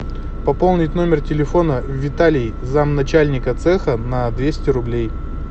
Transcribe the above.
пополнить номер телефона виталий зам начальника цеха на двести рублей